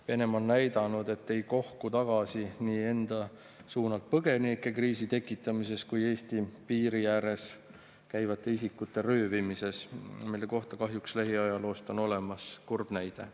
Venemaa on näidanud, et ei kohku tagasi ei enda suunalt põgenikekriisi tekitamisest ega Eesti piiri ääres käivate isikute röövimisest, mille kohta on lähiajaloost kahjuks olemas kurb näide.